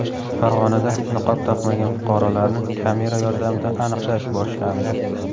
Farg‘onada niqob taqmagan fuqarolarni kamera yordamida aniqlash boshlandi.